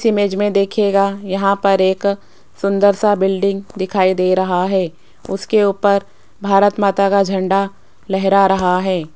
सिमेज में देखियेगा यहां पर एक सुंदर सा बिल्डिंग दिखाई दे रहा है उसके ऊपर भारत माता का झंडा लहरा रहा है।